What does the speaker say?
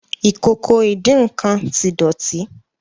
Ìkòkò ìdín-nǹkan tí dótì.